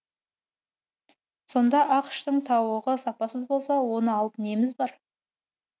сонда ақш тың тауығы сапасыз болса оны алып неміз бар